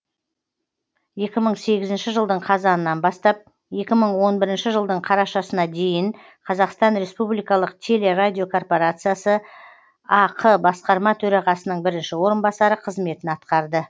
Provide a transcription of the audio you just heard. екі мың сегізінші жылдың қазанынан бастап екі мың он бірінші жылдың қарашасына дейін қазақстан республикалық телерадиокорпорациясы ақ басқарма төрағасының бірінші орынбасары қызметін атқарды